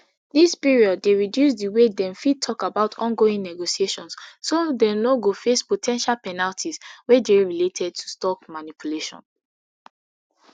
dis period dey reduce di way dem fit tok about ongoing negotiations so dem no go face po ten tial penalties wey dey related to stock manipulation